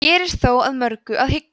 hér er þó að mörgu að hyggja